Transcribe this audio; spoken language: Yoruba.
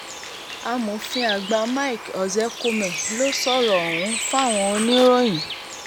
amòfin àgbà mike ozekhome ló sọ̀rọ̀ ọ̀hún fáwọn oníròyìn